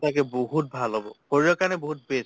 সঁচাকে বহুত ভাল হʼব। শৰীৰৰ কাৰণে বহুত best